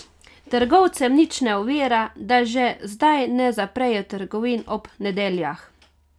Trgovcev nič ne ovira, da že zdaj ne zaprejo trgovin ob nedeljah.